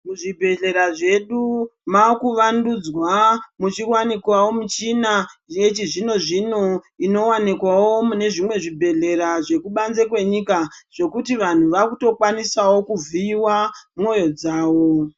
Muzvibhedhlera medu makuvandudzwa muchiwanikwawo michina yechizvino-zvino inowanikwawo mune zvimwe zvibhedhlera zvekubanze kwenyika zvekuti vantu vakutokwanisawo kuvhiiwa moyo dzavo.